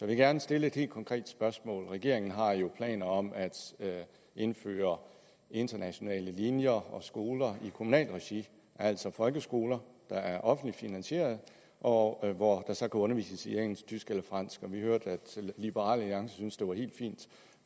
vil gerne stille et helt konkret spørgsmål regeringen har planer om at indføre internationale linjer og skoler i kommunalt regi altså folkeskoler der er offentligt finansieret og hvor der så kan undervises i engelsk tysk eller fransk vi hørte at liberal alliance synes det var helt fint